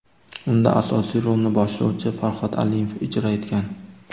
Unda asosiy rolni boshlovchi Farhod Alimov ijro etgan.